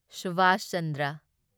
Subhash Chandra